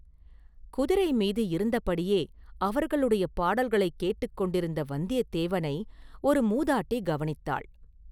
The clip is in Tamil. குதிரை மீது இருந்தபடியே அவர்களுடைய பாடல்களைக் கேட்டுக் கொண்டிருந்த வந்தியத்தேவனை ஒரு மூதாட்டி கவனித்தாள்.